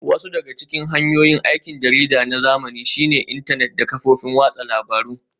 Wasu daga cikin hanyoyin aikin jarida na zamani shine intanet da kafofin watsa labarun